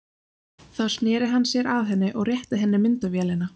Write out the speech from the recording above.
Þá sneri hann sér að henni og rétti henni myndavélina.